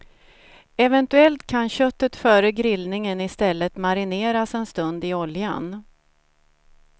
Eventuellt kan köttet före grillningen i stället marineras en stund i oljan.